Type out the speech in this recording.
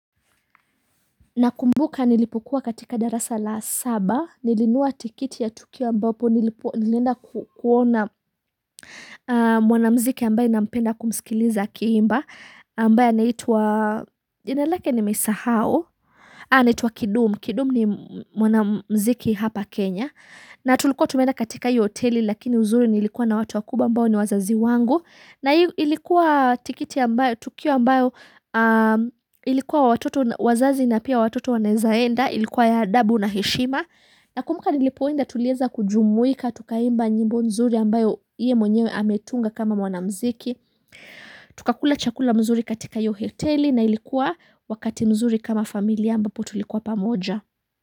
Nakumbuka nilipokuwa katika darasa la saba nilinua tikiti ya tukio ambapo nilenda kuona mwana mziki ambayo nampenda kumsikiliza akiimba ambaye anaitwa jina lake nimeisahao Haa anitwa Kidum, Kidum ni mwanamziki hapa Kenya na tulikuwa tumeenda katika hiyo hoteli lakini uzuri niilikuwa na watu wakubwa ambao ni wazazi wangu na hii ilikuwa tukio ambao ilikuwa wazazi na pia watoto wanazaenda ilikuwa ya adabu na heshima na kumbuka nilipoenda tulieza kujumuika tukaimba nyimbo nzuri ambayo ye mwenyewe ametunga kama mwanamziki Tukakula chakula mzuri katika yo hoteli na ilikuwa wakati mzuri kama familia ambapo tulikuwa pamoja.